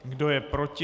Kdo je proti?